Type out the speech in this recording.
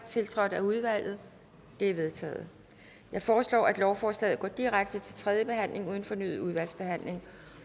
tiltrådt af udvalget det er vedtaget jeg foreslår at lovforslaget går direkte til tredje behandling uden fornyet udvalgsbehandling